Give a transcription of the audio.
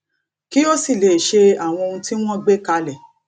kí ó sì lè ṣe àwọn ohun tí wọn gbé kalẹ